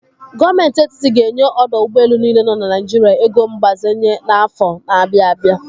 Gọọmenti Etitit ga enye ọdọ ụgbọelu niile nọ na Naijiria ego mgbazenye n'afọ na-abịa abịa.